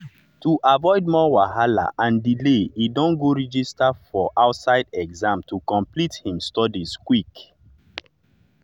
to avoid more wahala and delay e don go register for for outside exam to complete him studies quick.